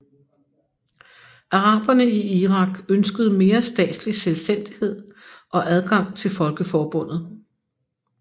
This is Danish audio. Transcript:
Araberne i Irak ønskede mere statslig selvstændighed og adgang til Folkeforbundet